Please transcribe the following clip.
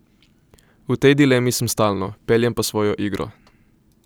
V tej dilemi sem stalno, peljem pa svojo igro.